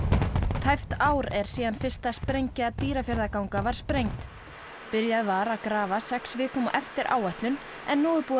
tæpt ár er síðan fyrsta sprengja Dýrafjarðarganga var sprengd byrjað var að grafa sex vikum á eftir áætlun en nú er búið að